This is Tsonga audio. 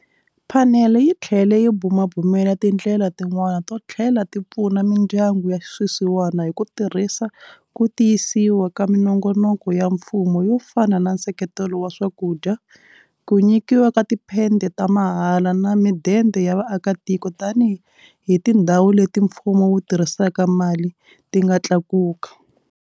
Phanele yi tlhele yi bumabumela tindlela tin'wana to tlhela ti pfuna mindyangu ya swisiwana hi ku tirhisa ku ti yisisiwa ka minongonoko ya mfumo yo fana na nseketelo wa swakudya, ku nyikiwa ka tiphede ta mahala na midende ya vaakitiko tanihi tindhawu leti mfumo wu tirhisaka mali ti nga tlakuka.